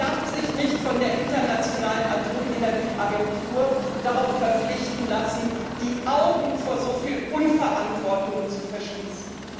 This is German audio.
Sie darf sich nicht von der Internationalen Atomenergieagentur dazu verpflichten lassen, die Augen vor soviel Unverantwortlichkeit zu verschließen.